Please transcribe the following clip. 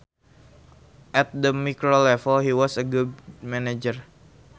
At the micro level he was a good manager